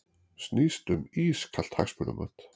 Snýst um ískalt hagsmunamat